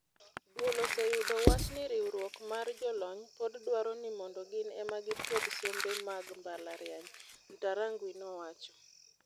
"Duol oseyudo wach ni riwruok mar jolony pod dwaro ni mondo gin ema gipuodh sombe mag mbalariany," Ntarangwi nowacho.